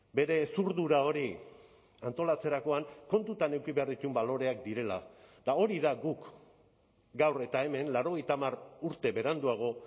bere hezurdura hori antolatzerakoan kontutan eduki behar dituen baloreak direla eta hori da guk gaur eta hemen laurogeita hamar urte beranduago